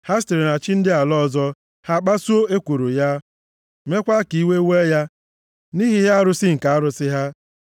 Ha sitere na chi ndị ala ọzọ ha kpasuo ekworo ya, meekwa ka iwe wee ya nʼihi ihe arụ nke arụsị ha.